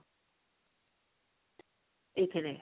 ଏଇଥିରେ